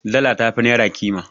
Dala tafi Naira Ƙima